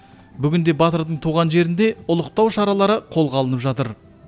бүгінде батырдың туған жерінде ұлықтау шаралары қолға алынып жатыр